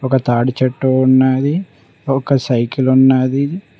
ఒక తాడిచెట్టు ఉన్నది ఒక సైకిలు ఉన్నది.